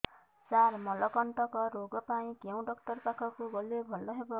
ସାର ମଳକଣ୍ଟକ ରୋଗ ପାଇଁ କେଉଁ ଡକ୍ଟର ପାଖକୁ ଗଲେ ଭଲ ହେବ